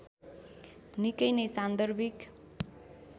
निकै नै सान्दर्भिक